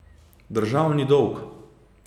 Državni dolg!